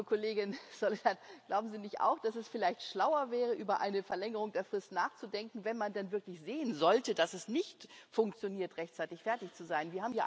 Aber liebe Kollegin Soledad, glauben Sie nicht auch, dass es vielleicht schlauer wäre, über eine Verlängerung der Frist nachzudenken, wenn man dann wirklich sehen sollte, dass es nicht funktioniert, rechtzeitig fertig zu sein?